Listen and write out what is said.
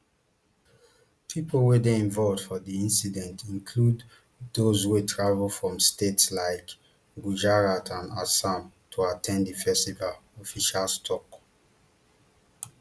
pipo wey dey involved for di incident include those wey travel from states like gujarat and assam to at ten d di festival officials tok